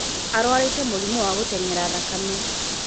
Arwarīte mūrimū wa gūteng'era thakame